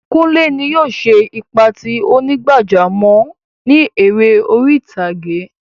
Kùnlẹ́ ní yóò ṣè ipa tí onígbàjàmọ̀ ni èrè orí ìtàgẹ̀.